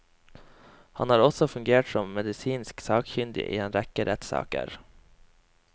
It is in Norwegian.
Han har også fungert som medisinsk sakkyndig i en rekke rettssaker.